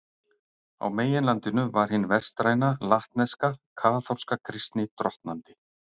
Á meginlandinu var hin vestræna, latneska, kaþólska kristni drottnandi.